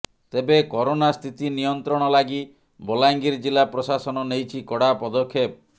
ତେବେ କରୋନା ସ୍ଥିତି ନିୟନ୍ତ୍ରଣ ଲାଗି ବଲାଙ୍ଗୀର ଜିଲ୍ଲା ପ୍ରଶାସନ ନେଇଛି କଡା ପଦକ୍ଷେପ